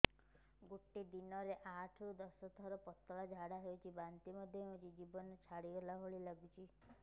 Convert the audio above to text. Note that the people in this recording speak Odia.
ଗୋଟେ ଦିନରେ ଆଠ ରୁ ଦଶ ଥର ପତଳା ଝାଡା ହେଉଛି ବାନ୍ତି ମଧ୍ୟ ହେଉଛି ଜୀବନ ଛାଡିଗଲା ଭଳି ଲଗୁଛି